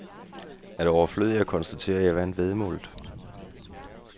Er det overflødigt at konstatere, at jeg vandt væddemålet?